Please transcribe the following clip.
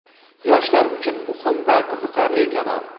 Yoshlar uchun muhim va qiziqarli kanal.